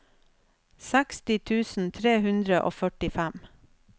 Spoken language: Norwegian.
seksti tusen tre hundre og førtifem